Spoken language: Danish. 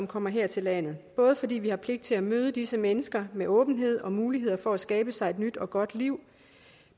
kommer her til landet både fordi vi har pligt til at møde disse mennesker med åbenhed og mulighed for at skabe sig et nyt og godt liv